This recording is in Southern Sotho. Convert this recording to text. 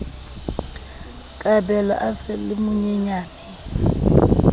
kabelo a sa le monyenyane